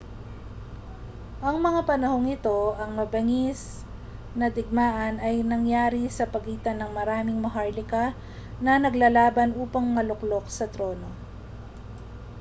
sa mga panahong ito ang mabangis na digmaan ay nangyari sa pagitan ng maraming maharlika na naglalaban upang maluklok sa trono